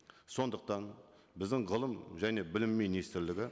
сондықтан біздің ғылым және білім министрлігі